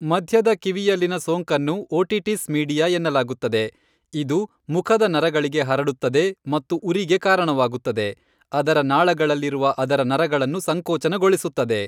ಮಧ್ಯದ ಕಿವಿಯಲ್ಲಿನ ಸೋಂಕನ್ನು ಓಟಿಟಿಸ್ ಮೀಡಿಯಾ ಎನ್ನಲಾಗುತ್ತದೆ, ಇದು ಮುಖದ ನರಗಳಿಗೆ ಹರಡುತ್ತದೆ ಮತ್ತು ಉರಿಗೆ ಕಾರಣವಾಗುತ್ತದೆ, ಅದರ ನಾಳಗಳಲ್ಲಿರುವ ಅದರ ನರಗಳನ್ನು ಸಂಕೋಚನಗೊಳಿಸುತ್ತದೆ.